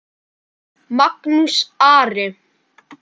Magnús Ari.